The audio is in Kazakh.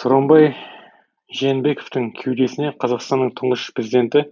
сооронбай жээнбековтің кеудесіне қазақстанның тұңғыш президенті